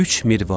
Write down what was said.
Üç Mirvari.